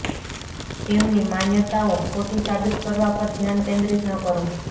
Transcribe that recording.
તેમની માન્યતાઓ ખોટી સાબિત કરવા પર ધ્યાન કેન્દ્રિત ન કરો